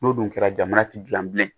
N'o dun kɛra jamana ti gilan bilen